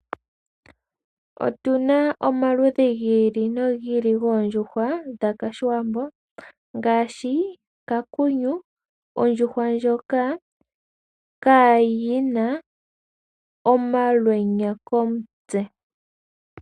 Otu na omaludhi gi ili nogi ili goondjuhwa dhOshiwambo ngaashi, kakunyu, ondjuhwa ndjoka kayina omalwenya komutse.